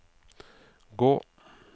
gå